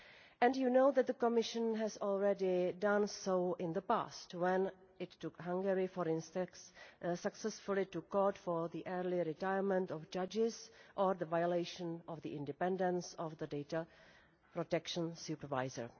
And you know that the Commission has already done so in the past when it took Hungary, for instance, successfully to Court for the early retirement of judges or violation of the independence of the Data Protection Supervisor.